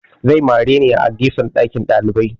Zai mare ni a gefen ɗakin ɗalibai